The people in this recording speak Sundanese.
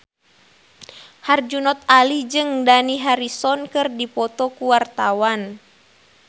Herjunot Ali jeung Dani Harrison keur dipoto ku wartawan